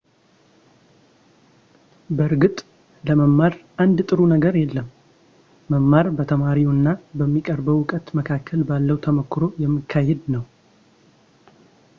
በእርግጥ ለመማር አንድ ጥሩ ነገር የለም መማር በተማሪው እና በሚቀርበው ዕውቀት መካከል ባለው ተሞክሮ የሚካሄድ ነው